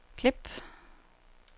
klip